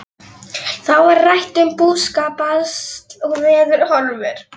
Þá var rætt um búskap, basl og veðurhorfur.